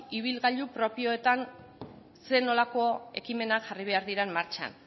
ibilgailu propioetan zer nolako ekimenak jarri behar diren martxan